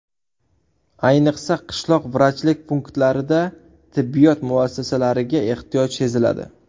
Ayniqsa, qishloq vrachlik punktlarida tibbiyot mutaxassislariga ehtiyoj seziladi.